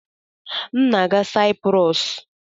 M na-aga Saịprọs.